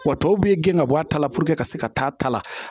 Wa tɔw bɛ gɛn ka bɔ a ta la puruke ka se ka taa ta la